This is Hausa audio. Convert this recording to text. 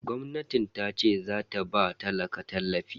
Gwamnatin tace zata ba talaka tallafi